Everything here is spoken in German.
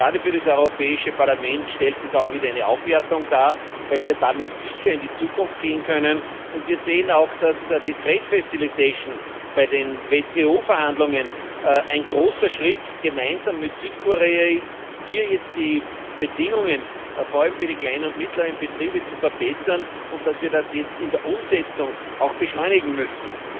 Gerade für das Europäische Parlament stellt es auch wieder eine Aufwertung da, weil wir damit sicher in die Zukunft gehen können. Wir sehen auch, dass die trade facilitation bei den WTO Verhandlungen ein großer Schritt gemeinsam mit Südkorea ist, hier jetzt die Bedingungen vor allem für die kleinen und mittleren Betriebe zu verbessern, und dass wir das jetzt auch in der Umsetzung beschleunigen müssen.